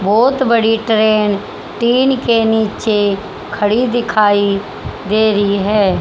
बहोत बड़ी train tin के नीचे खड़ी दिखाई दे रही है।